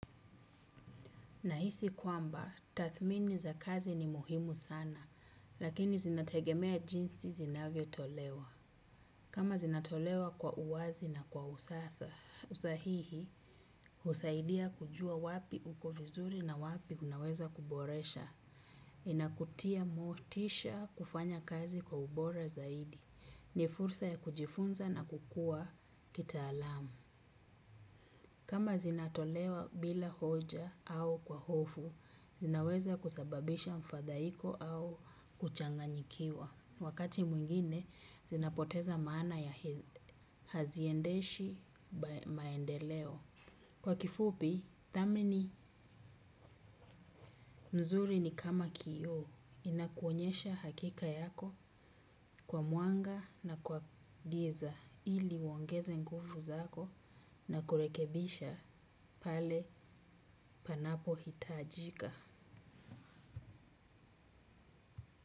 Na hisi kwamba, tathmini za kazi ni muhimu sana, lakini zinategemea jinsi zinavyo tolewa. Kama zinatolewa kwa uwazi na kwa usasa, usahihi, husaidia kujua wapi uko vizuri na wapi unaweza kuboresha. Inakutia motisha kufanya kazi kwa ubora zaidi. Ni fursa ya kujifunza na kukua kita alamu. Kama zinatolewa bila hoja au kwa hofu, zinaweza kusababisha mfadhaiko au kuchanganyikiwa. Wakati mwingine, zinapoteza maana ya haziendeshi maendeleo. Kwa kifupi, dhamini mzuri ni kama kioo inakuonyesha hakika yako kwa mwanga na kwa giza ili uongeze nguvu zako na kurekebisha pale panapohitajika.